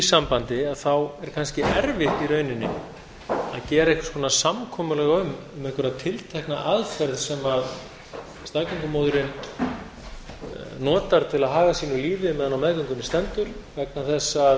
sambandi er kannski erfitt í rauninni að gera einhvers konar samkomulag um einhverja tiltekna aðferð sem staðgöngumóðirin notar til að haga sínu lífi meðan á meðgöngunni stendur vegna þess að